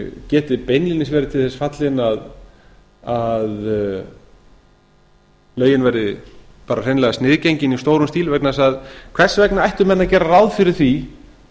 geti beinlínis verið til þess fallin að lögin verði bara sniðgengin í stórum stíl vegna þess að hvers vegna ættu menn að gera ráð fyrir því